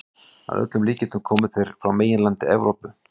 Að öllum líkindum komu þeir frá meginlandi Evrópu.